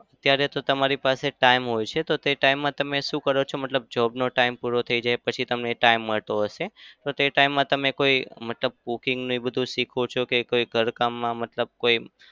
અત્યારે તો તમારી પાસે time હોય છે. તો તે time માં તમે શુ કરો છો? મતલબ job નો time પૂરો થઇ જાય પછી તમને time મળતો હશે તો તે time માં તમે કોઈ મતલબ cooking એ બધું શીખો છો કે કોઈ ઘર કામમાં મતલબ કોઈ